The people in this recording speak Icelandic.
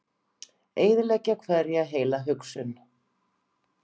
Eyðileggja hverja heila hugsun.